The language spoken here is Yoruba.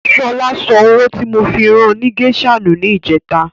Ṣọlá sọ owó tí mo fi ran ni gésà nù ní ìjẹ́ta.